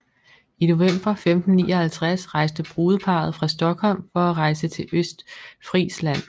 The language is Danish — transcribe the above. I november 1559 rejste brudeparret fra Stockholm for at rejse til Østfrisland